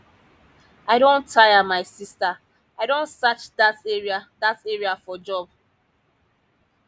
i don tire my sister i don search dat area dat area for job